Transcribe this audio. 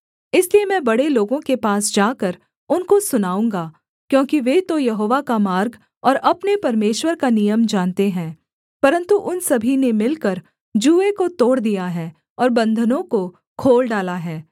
इसलिए मैं बड़े लोगों के पास जाकर उनको सुनाऊँगा क्योंकि वे तो यहोवा का मार्ग और अपने परमेश्वर का नियम जानते हैं परन्तु उन सभी ने मिलकर जूए को तोड़ दिया है और बन्धनों को खोल डाला है